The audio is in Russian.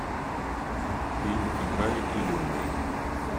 фильм играй или умри